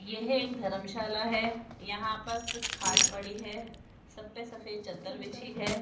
यह एक धर्मशाला है यहां पर कुछ खाट पड़ी है सब पे सफेद चद्दर बिछी है।